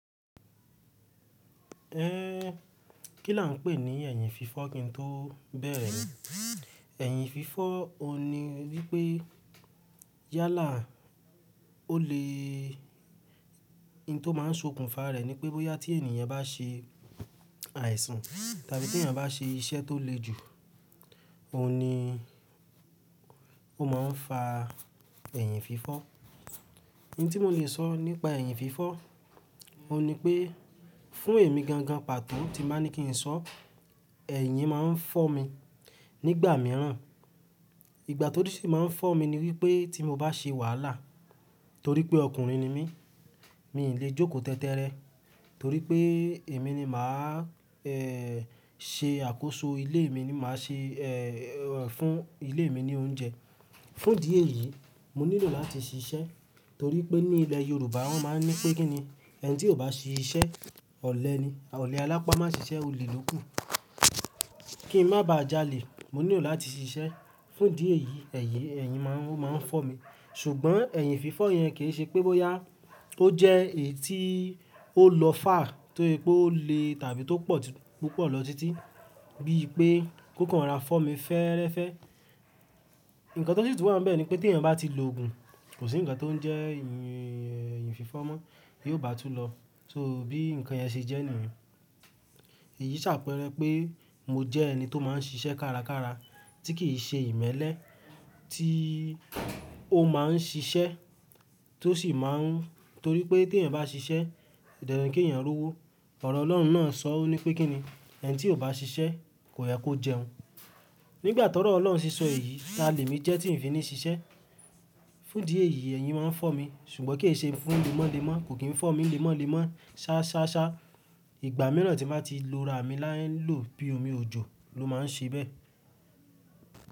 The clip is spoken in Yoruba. Kí là ń pè ní ẹ̀yìn fifọ́ kí n tó bẹ̀rẹ̀ ni, ẹ̀yìn fifọ́ òun ni wípé yálà o le, ohun tó máa ń ṣokùnfà rẹ̀ ni pé bóyá tí ènìyàn bá se àìsàn tàbí tí ènìyàn bá se iṣẹ́ tó le jù, òun ni ó máa ń fa ẹ̀yìn fifọ́. Ohùn tí mo lè sọ nípa ẹ̀yìn fifọ́, ohùn ní pé fún èmi gangan pàtó tí máa ní kí n sọ, ẹ̀yìn máa ń fọ́ mi nígbà mìíràn. Ìgbàti Orí si máa ń fọ́ mi ni wípé tí mo bá se wàhálà torí pé ọkùnrin ni mí, mi ì lè jókòó tẹ́tẹ́rẹ torí pé èmi ni màá, ṣe àkóso ilé mi ni màá se, fún ilé mi ní oúnjẹ. Fún ìdí èyí, mo nílò láti ṣiṣẹ́ torí pé ní ilẹ̀ Yorùbá wọ́n máa ń ní pé kín ni, ẹni tí kò bá ṣiṣẹ́ ọ̀lẹ ni, ọ̀lẹ alápá má ṣiṣẹ́, óle lóku. Kí n má bá jalè, mo nílò láti ṣiṣẹ́. Fún ìdí èyí ẹ̀yìn, ẹ̀yìn máa ń fọ́ mi ṣùgbọ́n ẹ̀yìn fifọ́ yẹn kì í ṣe pé bóyá ó jẹ́ èyí tí ó lọ fà á torí pé ó le tàbí tó pọ̀ púpọ̀ lọ títí bí i pé kókó rọra fọ́ mi fẹ́ẹ́rẹ́fẹ́. Ǹkan tó sì tún wà n bẹ́ẹ̀ ni pé tí èyàn bá ti lo ògùn, kò sí ǹkan tó ń jẹ́ ẹ̀yìn, ẹ̀yìn fifọ́ mọ́ bí ó bá tú lọ. So bí ǹkan yẹn ṣe jẹ́ nìyẹn. Èyí sàpẹ́rẹ́ pé mo jẹ́ ẹni tó máa ń ṣiṣẹ́ kárakára tí kì í ṣe ìmẹ́lẹ́, tí ó máa ń ṣiṣẹ́ tó sì máa ń, torí pé tí èèyàn bá ṣiṣẹ́, dandan kí èèyàn rí ọwó. Ọ̀rọ̀ Ọlọ́run náà sọ ọ nípé kín ni, ẹni tí kò bá ṣiṣẹ́ kò yẹ kó jẹun. Nígbà ti ọrọ̀ Ọlọ́run ṣíṣọ èyí ta lèmi jẹ́ tí n fi ní ṣiṣẹ́. Fún ìdí èyí ẹ̀yìn máa ń fọ́ mi ṣùgbọ́n kì í ṣe fún lemọ́lemọ́, kò kí n fọ́ mi lemọ́lemọ́ ṣá ṣá ṣá. Ìgbà mìíràn tí màá ti lo rami láyè ń lò bí omi òjò ló máa ń ṣe bẹ́ẹ̀.